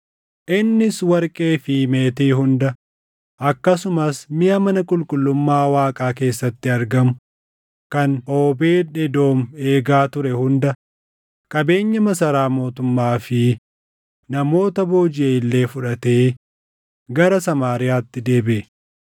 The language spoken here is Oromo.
Innis warqee fi meetii hunda, akkasumas miʼa mana qulqullummaa Waaqaa keessatti argamu kan Oobeed Edoom eegaa ture hunda, qabeenya masaraa mootummaa fi namoota boojiʼe illee fudhatee gara Samaariyaatti deebiʼe.